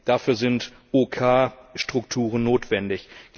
Dafür sind OK Strukturen notwendig.